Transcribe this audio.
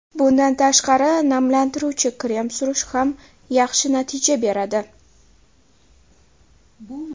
Bundan tashqari, namlantiruvchi krem surish ham yaxshi natija beradi.